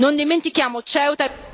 Non dimentichiamo Ceuta...